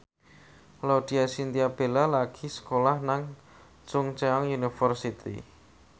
Laudya Chintya Bella lagi sekolah nang Chungceong University